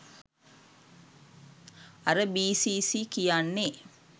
අර බී.සී.සී කියන්නේ